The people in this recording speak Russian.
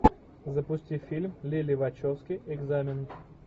запусти фильм лили вачовски экзамен